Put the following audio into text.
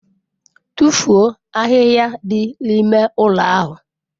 Tụfuo ahịhịa dị n'ime ụlọ ahụ!